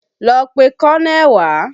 Lọ pe kọ́nẹ̀ wá!